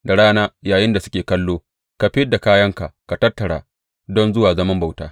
Da rana, yayinda suke kallo, ka fid da kayanka da ka tattara don zuwa zaman bauta.